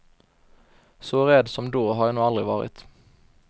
Så rädd som då har jag nog aldrig varit.